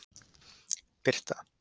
Birta